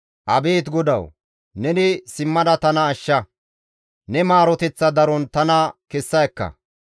Abeet GODAWU! Neni simmada tana ashsha; ne maaroteththa daron tana kessa ekka.